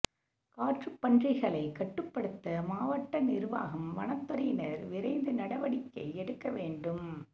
காட்டுப்பன்றிகளை கட்டுப்படுத்த மாவட்ட நிர்வாகம் வனத்துறையினர் விரைந்து நடவடிக்கை எடுக்க வேண்டும்